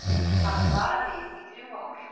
Hafði varað við í þrjú ár